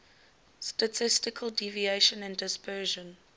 statistical deviation and dispersion